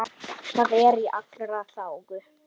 Það er í allra þágu.